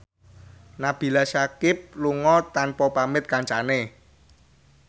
Nabila Syakieb lunga tanpa pamit kancane